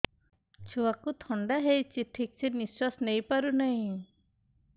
ଛୁଆକୁ ଥଣ୍ଡା ହେଇଛି ଠିକ ସେ ନିଶ୍ୱାସ ନେଇ ପାରୁ ନାହିଁ